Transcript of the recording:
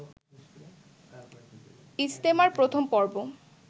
ইজতেমার প্রথম পর্ব